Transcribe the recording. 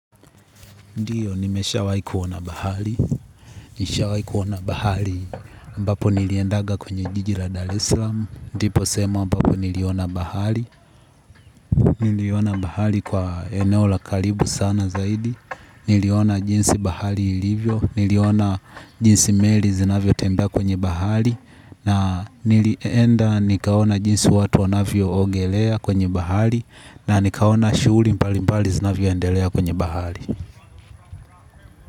Ndiyo, nimeshawai kuona bahari, nishawai kuona bahari, ambapo niliendaga kwenye jiji la daresallam, ndipo sehemu ambapo niliona bahari, niliona bahari kwa eneo la karibu sana zaidi, niliona jinsi bahari ilivyo, niliona jinsi meli zinavyo tembea kwenye bahari, na nilienda nikaona jinsi watu wanavyo ogelea kwenye bahari, na nikaona shughuli mbali mbali zinavyoendelea kwenye bahari.